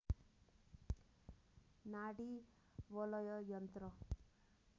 नाडी वलय यन्त्र